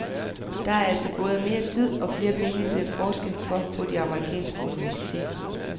Der altså både mere tid og flere penge til at forske for på amerikanske universiteter.